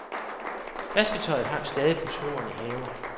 Vasketøjet hang stadig på snoren i haven.